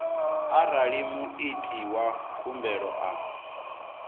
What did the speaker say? arali muiti wa khumbelo a